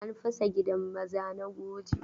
An fasa gidan maza na Kuje.